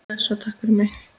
Bless og takk fyrir mig.